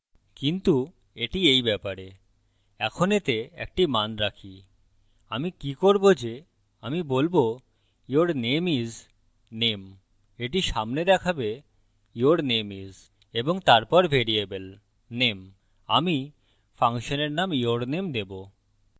কিন্তু এটি এই ব্যাপারে এখন এতে একটি মান রাখি আমি কি করবো যে আমি বলবো your name is name এটি সামনে দেখাবে your name is এবং তারপর ভ্যারিয়েবল name আমি ফাংশনের name yourname দেবো